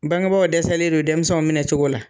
Bangebaaw dɛsɛsɛlen don denmisɛnw minɛ cogo la.